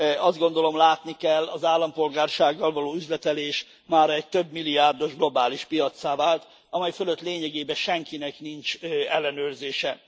Azt gondolom, látni kell az állampolgársággal való üzletelés mára egy több milliárdos globális piaccá vált, amely fölött lényegében senkinek nincs ellenőrzése.